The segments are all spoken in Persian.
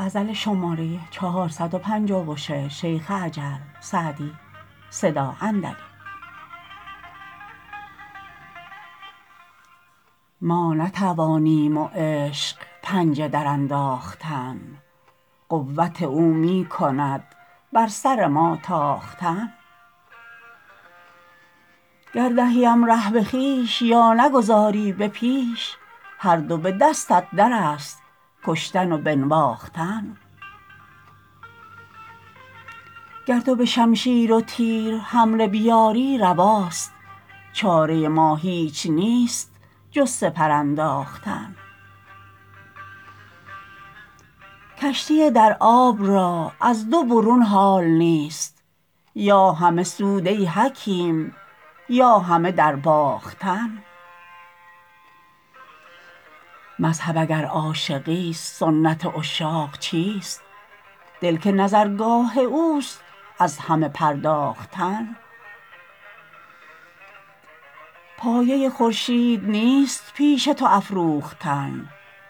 ما نتوانیم و عشق پنجه درانداختن قوت او می کند بر سر ما تاختن گر دهیم ره به خویش یا نگذاری به پیش هر دو به دستت در است کشتن و بنواختن گر تو به شمشیر و تیر حمله بیاری رواست چاره ما هیچ نیست جز سپر انداختن کشتی در آب را از دو برون حال نیست یا همه سود ای حکیم یا همه درباختن مذهب اگر عاشقیست سنت عشاق چیست دل که نظرگاه اوست از همه پرداختن پایه خورشید نیست پیش تو افروختن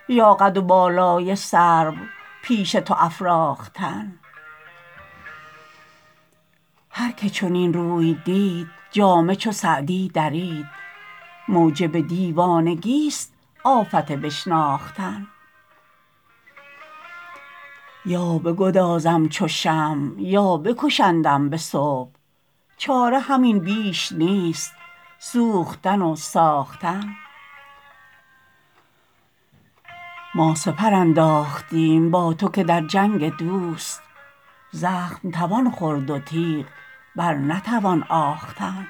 یا قد و بالای سرو پیش تو افراختن هر که چنین روی دید جامه چو سعدی درید موجب دیوانگیست آفت بشناختن یا بگدازم چو شمع یا بکشندم به صبح چاره همین بیش نیست سوختن و ساختن ما سپر انداختیم با تو که در جنگ دوست زخم توان خورد و تیغ بر نتوان آختن